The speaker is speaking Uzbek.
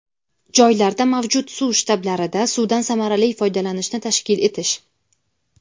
joylarda mavjud suv shtablarida suvdan samarali foydalanishni tashkil etish;.